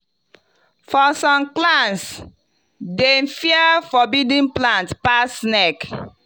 for some clans dem fear forbidden plants pass snake.